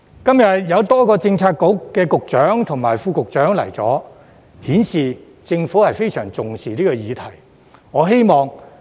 今天有多位政策局局長及副局長出席，顯示政府非常重視這議題。